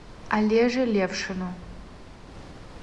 олеже левшину